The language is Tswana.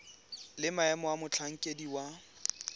le maemo a motlhankedi wa